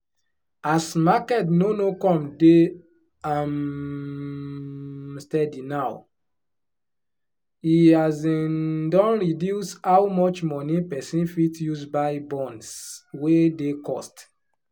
as market no no come de um steady now e um don reduce how much money person fit use buy bonds wey dey cost